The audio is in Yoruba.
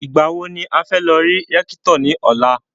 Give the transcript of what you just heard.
Ìgbà wo ni a fẹ́ lọ rí Rẹ́kítọ̀ ní ọ̀la?